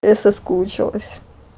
я соскучилась